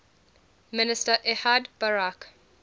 minister ehud barak